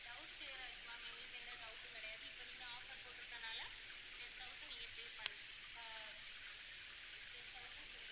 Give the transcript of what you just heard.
doubt clear ஆயிருச்சு ma'am எங்களுக்கு எந்த doubt உம் கிடையாது இப்போ நீங்க offer போட்டிருக்கதனால ten thousand நீங்க pay பண்ற~ ஆஹ் ten thousand சொல்றீங்க